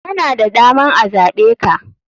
Kana da daman a zaɓeka.